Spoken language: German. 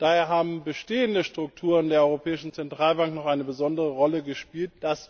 Daher haben bestehende Strukturen der Europäischen Zentralbank noch eine besondere Rolle gespielt.